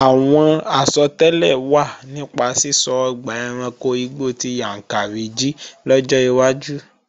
Àwọn àsọtẹ́lẹ̀ wà nípa sísọ ọgbà ẹranko igbó ti Yàǹkàrí jí lọ́jọ́ iwájú